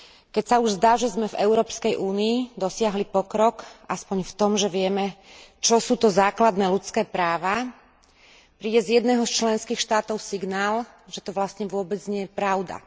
Keď sa už zdá, že sme v Európskej únii dosiahli pokrok aspoň v tom, že vieme, čo sú to základné ľudské práva, príde z jedného z členských štátov signál, že to vlastne vôbec nie je pravda.